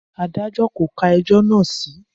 Adájọ́ kò ka ẹjọ́ náà sí.